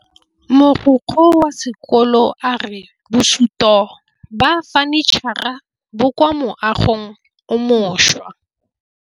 Mogokgo wa sekolo a re bosutô ba fanitšhara bo kwa moagong o mošwa.